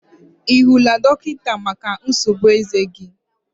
I hụla dọkịta maka nsogbu eze gi?